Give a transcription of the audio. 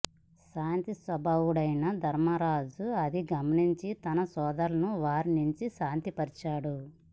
శాంత స్వభావుడైన ధర్మరాజు అది గమనించి తన సోదరులను వారించి శాంతపరచాడు